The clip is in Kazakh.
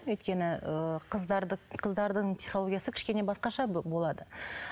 өйткені ыыы қыздардың психологиясы кішкене басқаша болады